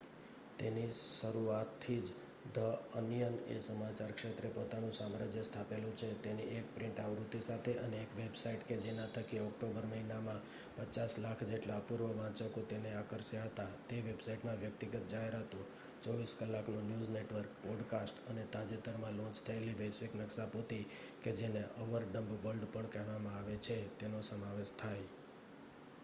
તેની શરુઆથી જ ધ અનિયન એ સમાચાર ક્ષેત્રે પોતાનું સામ્રાજ્ય સ્થાપેલું છે તેની એક પ્રિન્ટ આવૃત્તિ સાથે અને એક વેબસાઈટ કે જેના થકી ઓક્ટોબર મહિનામાં 5,000,000 જેટલા અપૂર્વ વાંચકો તેને આકર્ષ્યા હતા. તે વેબસાઈટમાં વ્યક્તિગત જાહેરાતો 24 કલાકનું ન્યૂઝ નેટવર્ક પોડકાસ્ટ અને તાજેતરમાં લોન્ચ થયેલ વૈશ્વિક નક્શાપોથી કે જેને અવર ડમ્બ વર્લ્ડ પણ કહેવામાં આવે છે તેનો સમાવેશ થાય